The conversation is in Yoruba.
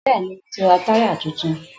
Bẹ́ẹ̀ni, mo ti ra táyà tuntun